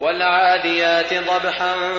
وَالْعَادِيَاتِ ضَبْحًا